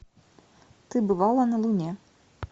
ты бывала на луне